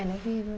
Ela é viva.